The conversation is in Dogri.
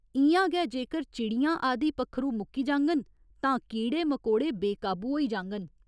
इ'यां गै जेकर चिड़ियां आदि पक्खरू मुक्की जाङन, तां कीड़े मकोड़े बेकाबू होई जाङन।